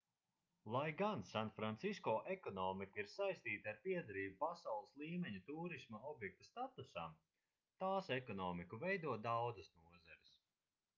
lai gan sanfrancisko ekonomika ir saistīta ar piederību pasaules līmeņa tūrisma objekta statusam tās ekonomiku veido daudzas nozares